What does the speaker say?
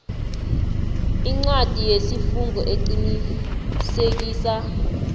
incwadi yesifungo eqinisekisa